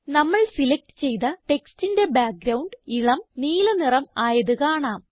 നമ്മൾ സിലക്റ്റ് ചെയ്ത ടെക്സ്റ്റിന്റെ ബാക്ക്ഗ്രൌണ്ട് ഇളം നീല നിറം ആയത് കാണാം